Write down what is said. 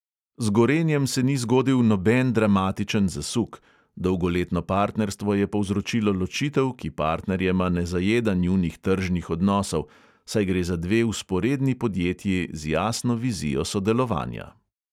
Z gorenjem se ni zgodil noben dramatičen zasuk, dolgoletno partnerstvo je povzročilo ločitev, ki partnerjema ne zajeda njunih tržnih odnosov, saj gre za dve vzporedni podjetji z jasno vizijo sodelovanja.